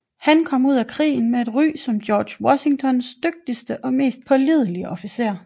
Han kom ud af krigen med et ry som George Washingtons dygtigste og mest pålidelige officer